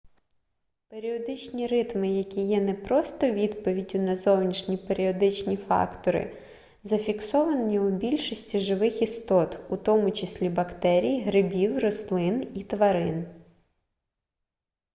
періодичні ритми які є не просто відповіддю на зовнішні періодичні фактори зафіксовані у більшості живих істот у тому числі у бактерій грибів рослин і тварин